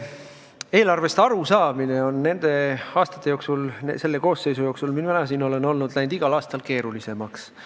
Eelarvest arusaamine on nende aastate jooksul, selle koosseisu ametiajal, mil mina siin olen olnud, läinud igal aastal keerulisemaks.